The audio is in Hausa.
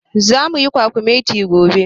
Zamu yi kwakumeti gobe.